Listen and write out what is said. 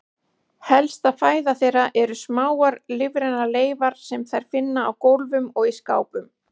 Helsta fæða þeirra eru smáar lífrænar leifar sem þær finna á gólfum og í skápum.